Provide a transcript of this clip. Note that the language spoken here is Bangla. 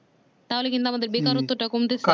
তাহলে কিন্তু আমাদের বেকারত্ব টা কমতে থাকে